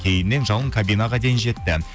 кейіннен жауын кабинаға дейін жетті